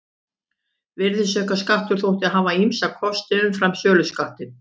Virðisaukaskattur þótti hafa ýmsa kosti umfram söluskattinn.